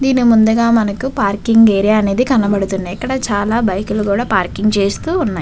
దీని ముందుగా మనకు పార్కింగ్ ఏరియా అనేది కనపడుతుంది. అక్కడ చాలా బైకు లు కూడా పార్కింగ్ చేస్తూ ఉన్నాయి.